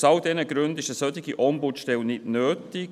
Aus all diesen Gründen ist eine solche Ombudsstelle nicht nötig;